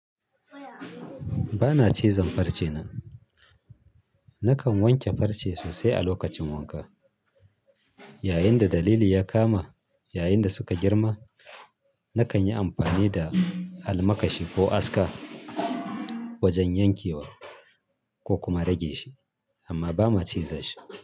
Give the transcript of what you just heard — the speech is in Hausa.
Ba na cizon farce na. Nakan wanke farce sosai a lokacin wanka. Yayinda dalili ya kama, yayinda suka girma, nakan yi amfani da almakashi ko aska wajen yankewa ko kuma rage shi amma ba ma ciza shi.